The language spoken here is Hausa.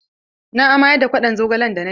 Na amayar da kwaɗon zogalen da na ci.